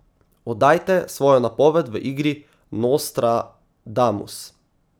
Oddajte svojo napoved v igri Nostradamus.